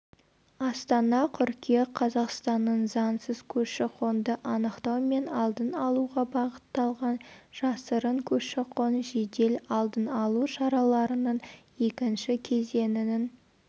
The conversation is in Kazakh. астана қыркүйек қазақстанның заңсыз көші-қонды анықтау мен алдын алуға бағытталған жасырын көші-қон жедел-алдын-алу шараларының екінші кезеңінің